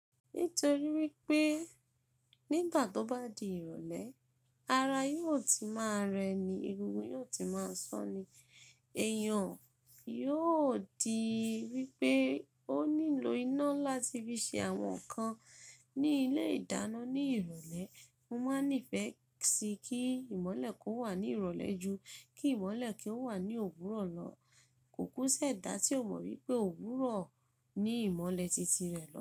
Nítorí wípé nígbà tó bá di ìrọ̀lẹ́, ara yóò ti máa rẹ ni, egungun yóò ti máa sọ́n ni, èèyàn yóò di wípé ó nílò iná láti fi ṣe àwọn nǹkan ní ilé ìdáná ní ìrọ̀lẹ́. Mo máa ń nífẹ̀ẹ́ sí kí ìmọ̀lẹ̀ kó wà ní ìrọ̀lẹ́ ju kí ìmọ̀lẹ̀ kí ó wà ní òwúrọ̀ lọ. Kò kú sí ẹ̀dá tí o mọ wípé òwúrọ̀ ni ìmọ̀lẹ̀ tìtì rẹ̀ lọ̀.